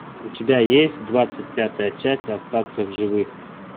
у тебя есть двадцать пятая часть остаться в живых